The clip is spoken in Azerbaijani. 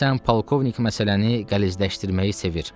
Deyəsən, polkovnik məsələni qəlizləşdirməyi sevir.